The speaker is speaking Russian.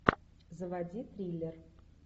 заводи триллер